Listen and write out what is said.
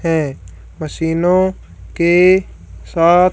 है। मशीनों के साथ--